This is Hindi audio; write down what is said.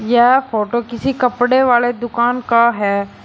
यह फोटो किसी कपड़े वाले दुकान का है।